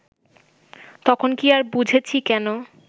তখন কি আর বুঝেছি কেন